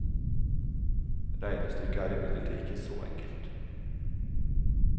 Regnestykket er imidlertid ikke så enkelt.